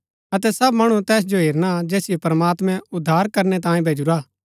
अतै सब मणु तैस जो हेरना जैसिओ प्रमात्मैं उद्धार करनै तांयें भैजुरा हा